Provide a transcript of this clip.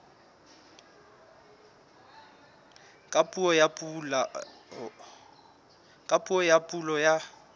ka puo ya pulo ya